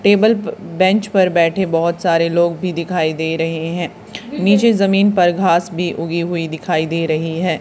Table प bench पर बैठे बहोत सारे लोग भी दिखाई दे रहे हैं नीचे जमीन पर घास भी उगी हुई दिखाई दे रही है।